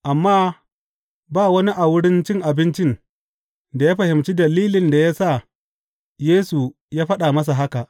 Amma ba wani a wurin cin abincin da ya fahimci dalilin da ya sa Yesu ya faɗa masa haka.